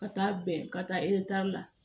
Ka taa bɛn ka taa ee la